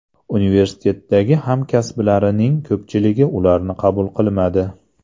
Universitetdagi hamkasblarining ko‘pchiligi ularni qabul qilmadi.